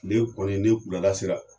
Tile kɔni ni wulada sera